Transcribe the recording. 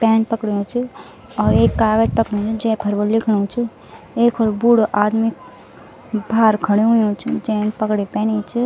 पैन पकड़ियूँ च और एक कागज़ पकडियूँ जैफर व लिखणु च एक होल बूढो आदमी भार खड्यू हुयुं च जैन पगड़ी पैनी च।